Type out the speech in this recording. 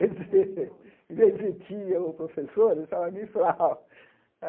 Em vez de tia ou professora, eles falaram mifral.